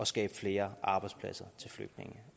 skabe flere arbejdspladser til flygtninge